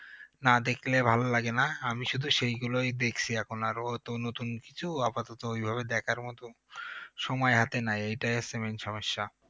না দেখলে ভালো লাগে না আমি শুধু সেগুলোই দেখছি এখন আরো অত নতুন কিছু আপাতত ওইভাবে দেখার মতো সময় হাতে নাই এটাই হচ্ছে main সমস্যা